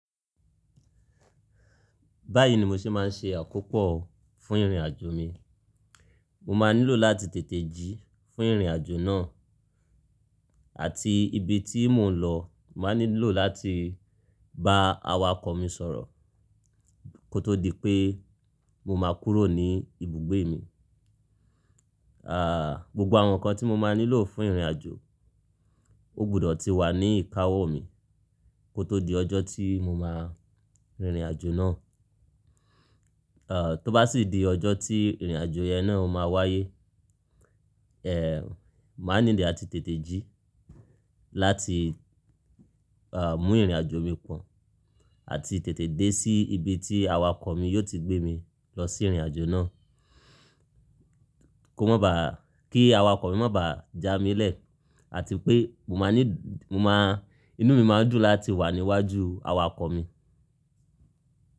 Báyìí ni mo ṣe máa ń ṣe àkópọ̀ fún ìrìnàjò mi. Mo máa nílò láti tètè jí fún ìrìnàjò náà àti ibi tí mò ń lọ máa nílò láti bá awakọ̀ mi sọ̀rọ̀ kó tó di pé mo máa kúrò ní ibùgbé mi. Ah, gbogbo àwọn nǹkan tí mo máa nílò fún ìrìnàjò, ó gbọdọ̀ ti wà ní ìkáwó mi kó tó di ọjọ́ tí mo máa rin ìrìnàjò náà. Ah, tó bá sì di ọjọ́ tí ìrìnàjò yẹn náà máa wáyé, eh, màá nílò láti tètè jí láti, ah, mú ìrìnàjò mi pọ̀n àti tètè dé sí ibi tí awakọ̀ mi yóò ti gbé mi lọ sí ìrìnàjò náà. Kó má bá, kí awakọ̀ mi má bá ja mi lẹ̀ àti pé mo máa ní, mo máa, inú mi máa dùn láti wà níwájú awakọ̀ mi.